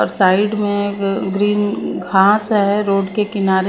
और साइड में ग्रीन घास है रोड के किनारे--